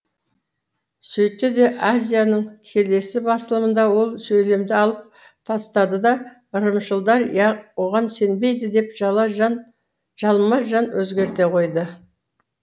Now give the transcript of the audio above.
сөйтті де азия ның келесі басылымында ол сөйлемді алып тастады да ырымшылдар оған сенбейді деп жалма жан өзгерте қойды